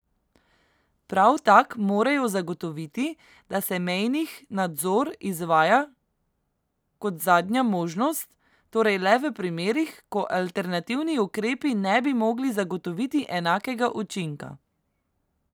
Prav tak morajo zagotoviti, da se mejnih nadzor izvaja kot zadnja možnost, torej le v primerih, ko alternativni ukrepi ne bi mogli zagotoviti enakega učinka.